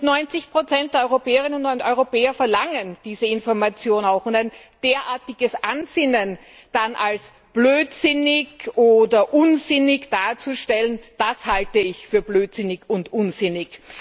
90 der Europäerinnen und Europäer verlangen diese Information auch. Ein derartiges Ansinnen dann als blödsinnig oder unsinnig darzustellen, das halte ich für blödsinnig und unsinnig.